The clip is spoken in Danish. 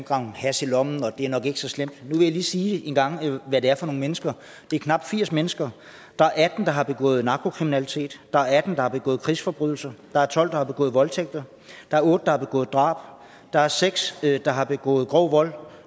hash i lommen så det er nok ikke så slemt nu vil jeg lige sige hvad det er for nogle mennesker det er knap firs mennesker der er atten der har begået narkokriminalitet der er atten der har begået krigsforbrydelser der er tolv der har begået voldtægter der er otte der har begået drab der er seks der har begået grov vold